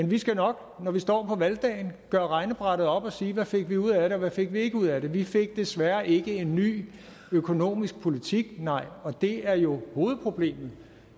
vi skal nok når vi står på valgdagen gøre regnebrættet op og sige hvad fik vi ud af det og hvad fik vi ikke ud af det vi fik desværre ikke en ny økonomisk politik nej og det er jo hovedproblemet